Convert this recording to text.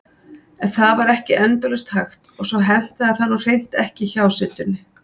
En það var ekki endalaust hægt og svo hentaði það nú hreint ekki hjásetunni.